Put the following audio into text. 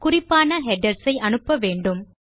குறிப்பான ஹெடர்ஸ் ஐ அனுப்ப வேண்டும்